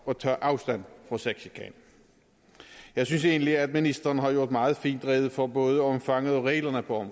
og tage afstand fra sexchikane jeg synes egentlig at ministeren har gjort meget fint rede for både omfanget af og reglerne for